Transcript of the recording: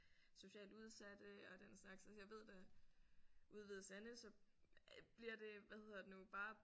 Socialt udsatte og den slags altså jeg ved da ude i Hvide Sande så bliver det hvad hedder det nu bare